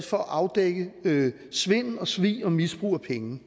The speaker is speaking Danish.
for at afdække svindel og svig og misbrug af penge